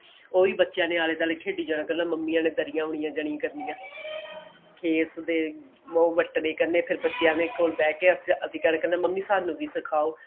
ਉਹੀ ਬੱਚਿਆ ਨੇ ਆਲੇ ਦੁਆਲੇ ਖੇਡੀ ਜਾਣਾ ਕੱਲੇ ਮੰਮੀ ਆਲੇ ਦਰਿਆ ਆਉਨੀਆ ਜਾਣਿਆ ਕਰਨੀਆਂ ਖੇਤ ਦੇ ਨੋ ਵਟਨੇ ਕਰਨੇ ਫੇਰ ਬੱਚਿਆ ਦੇ ਕੋਲ ਬਹਿ ਕੇ ਫੇਰ ਅਸੀਂ ਮੰਮੀ ਨੂੰ ਕਹਿਣਾ ਸਾਨੂੰ ਵੀ ਸਿਖਾਓ